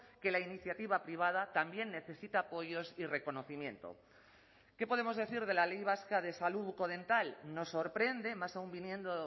que la iniciativa privada también necesita apoyos y reconocimiento qué podemos decir de la ley vasca de salud bucodental nos sorprende más aun viniendo